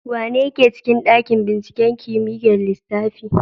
Wanene yake cikin ɗaƙin ɓinciƙen kimiƴar lissafi.